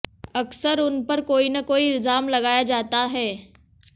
अक्सर उन पर कोई न कोई इल्जाम लगाया जाता है